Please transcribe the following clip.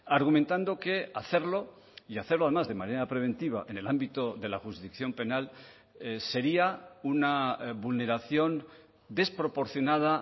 argumentando que hacerlo y hacerlo además de manera preventiva en el ámbito de la jurisdicción penal sería una vulneración desproporcionada